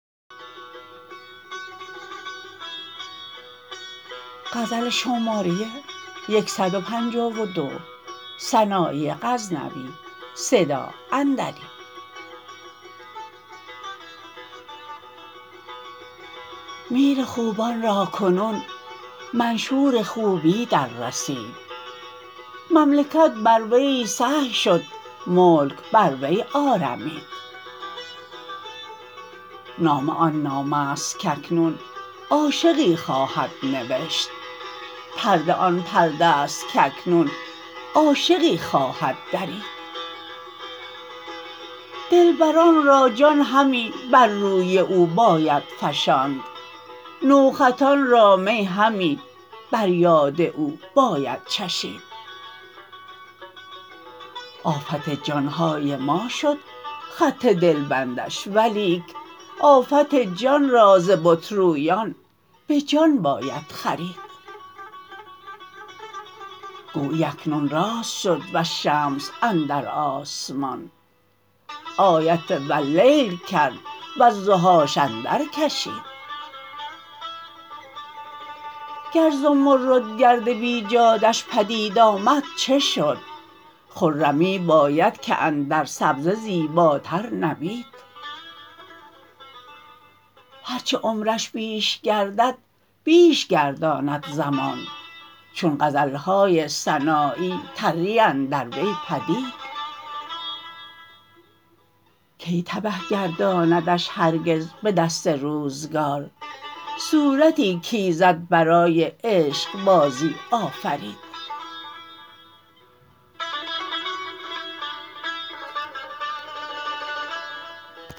میر خوبان را کنون منشور خوبی در رسید مملکت بر وی سهی شد ملک بر وی آرمید نامه آن نامه ست کاکنون عاشقی خواهد نوشت پرده آن پرده ست کاکنون عاشقی خواهد درید دلبران را جان همی بر روی او باید فشاند نوخطان را می همی بر یاد او باید چشید آفت جانهای ما شد خط دلبندش ولیک آفت جان را ز بت رویان به جان باید خرید گویی اکنون راست شد والشمس اندر آسمان آیت واللیل کرد و الضحاش اندر کشید گر ز مرد گرد بیجاده ش پدید آمد چه شد خرمی باید که اندر سبزه زیباتر نبید هر چه عمرش بیش گردد بیش گرداند زمان چون غزلهای سنایی تری اندر وی پدید کی تبه گرداندش هرگز به دست روزگار صورتی کایزد برای عشقبازی آفرید